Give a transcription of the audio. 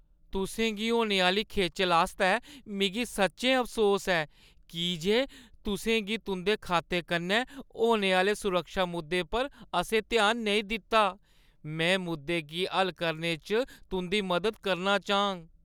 तुसें गी होने आह्‌ली खेचल आस्तै मिगी सच्चैं अफसोस ऐ की जे तुसें गी तुंʼदे खाते कन्नै होने आह्‌ले सुरक्षा मुद्दें पर असें ध्यान नेईं दित्ता। मैं मुद्दें गी हल करने च तुंʼदी मदद करना चाह्‌ङ।